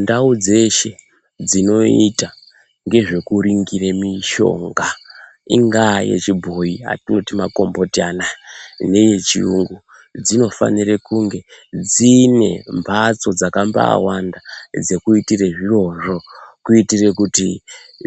Ndau dzeshe dzinoita ngezvekuringire mishonga ingaa yechibhoyi atooti makomboti anaya neyechiyungu dzinofanire kunge dzine mbatso dzakambaawanda dzekuitire zvirozvo kuitire kuti